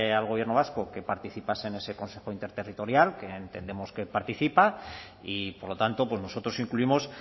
al gobierno vasco que participase en ese consejo interterritorial que entendemos que participa y por lo tanto nosotros incluimos